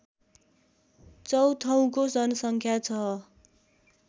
चौथौको जनसङ्ख्या छ